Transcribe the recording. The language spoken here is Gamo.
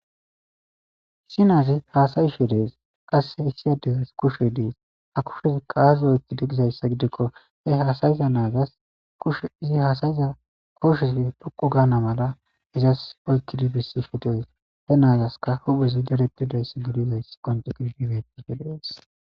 Issi naazi haasa7'she deesi issinozi qasse kushe denththishe dees ha naazasika huphezika dadetidi dees.